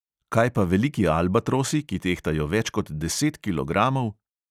Kaj pa veliki albatrosi, ki tehtajo več kot deset kilogramov?